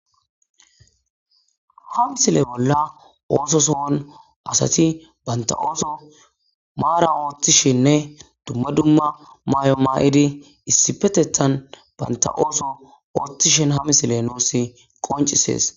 ha misile bolla ooso sohon asati baynta ooso maara ooththishinne dumma dumma maay7o maa7idi issi petethan baynta ooso ooththishin ha misile nuus qoncisees